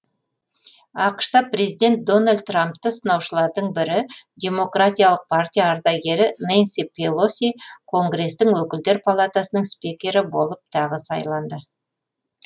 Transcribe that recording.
ақш та президент дональд трампты сынаушылардың бірі демократиялық партия ардагері нэнси пелоси конгрестің өкілдер палатасының спикері болып тағы сайланды